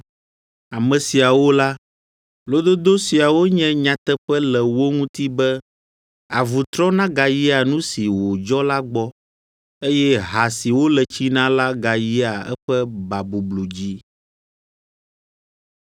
Ame siawo la, lododo siawo nye nyateƒe le wo ŋuti be, “Avu trɔna gayia nu si wòdzɔ la gbɔ,” eye “Ha si wole tsi na la gayia eƒe babublu dzi.”